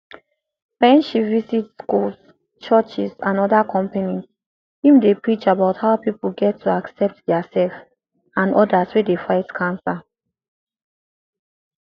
wen she visit schools churches and oda companies im dey preach about how pipo get to accept diaserf and odas wey dey fight cancer